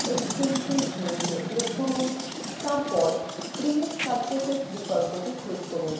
extensions মেনুতে click করুন তারপর create surfaces বিকল্পটি click করুন